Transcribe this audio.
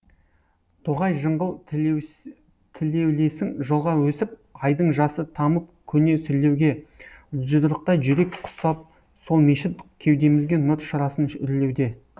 тоғай жыңғыл тілеулесің жолға өсіп айдың жасы тамып көне сүрлеуге жұдырықтай жүрек құсап сол мешіт кеудемізге нұр шырасын үрлеуде